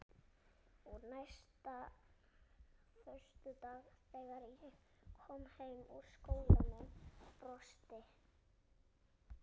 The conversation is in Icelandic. Og næsta föstudag þegar ég kom heim úr skólanum brosti